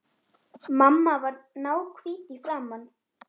Mamma varð náhvít í framan.